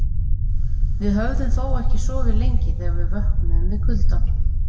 Við höfðum þó ekki sofið lengi þegar við vöknuðum við kuldann.